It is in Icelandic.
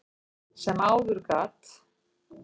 sem áður gat.